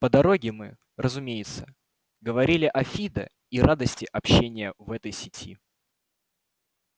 по дороге мы разумеется говорили о фидо и радости общения в этой сети